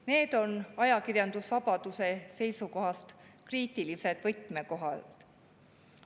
Need on ajakirjandusvabaduse seisukohast kriitilised võtmekohad.